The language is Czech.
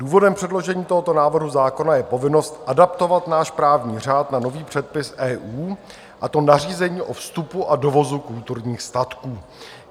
Důvodem předložení tohoto návrhu zákona je povinnost adaptovat náš právní řád na nový předpis EU, a to nařízení o vstupu a dovozu kulturních statků.